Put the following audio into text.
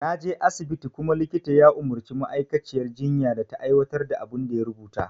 Naje asibiti kuma likita ya umarci ma'aikaciyar jinya da ta aiwatar da abin da ya rubuta